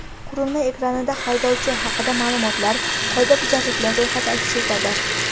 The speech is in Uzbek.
Qurilma ekranida haydovchi haqida ma’lumotlar, qoidabuzarliklar ro‘yxati aks etadi.